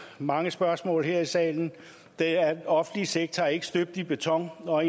mange spørgsmål her i salen er den offentlige sektor ikke støbt i beton og